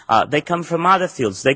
They come from other fields.